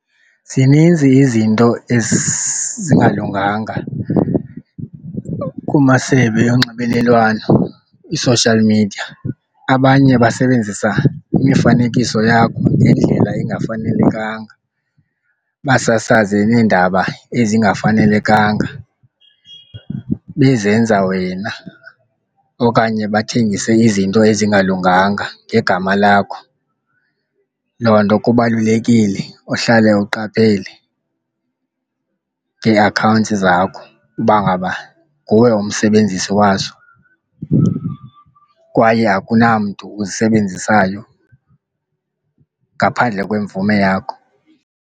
Zininzi izinto ezingalunganga kumasebe yonxibelelwano i-social media. Abanye basebenzisa imifanekiso yakho ngendlela engafanelekanga basasaze neendaba ezingafanelekanga bezenza wena okanye bathengise izinto ezingalunganga ngegama lakho. Loo nto kubalulekile uhlale uqaphele ngee-accounts zakho uba ngaba nguwe umsebenzisi wazo kwaye akunamntu uzisebenzisayo ngaphandle kwemvume yakho.